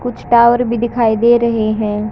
कुछ टावर भी दिखाई दे रहे हैं।